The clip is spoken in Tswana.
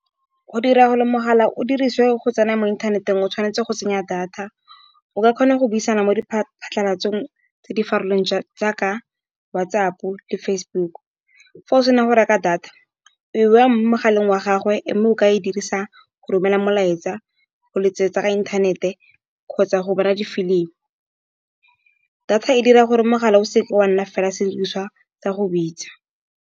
Go dira gore mogala o dirisiwe go tsena mo inthaneteng o tshwanetse go tsenya data. O ka kgona go buisana mo phatlhalatseng tse di farologaneng jaaka WhatsApp le Facebook, fa o sena go reka data mogaleng wa gago, mme o ka e dirisa go romela molaetsa, go letsetsa ka intanete kgotsa go bona difilimi. Data e dira gore mogala o seke wa nna fela sediriswa sa go bitsa.